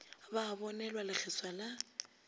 ba a bonelwa lekgeswa la